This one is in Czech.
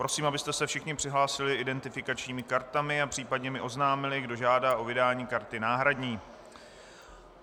Prosím, abyste se všichni přihlásili identifikačními kartami a případně mi oznámili, kdo žádá o vydání karty náhradní.